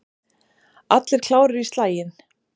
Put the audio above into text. Allir klárir í slaginn?